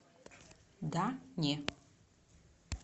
да не